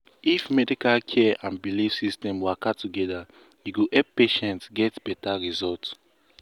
if medical care and belief system waka together e go help patients get better result.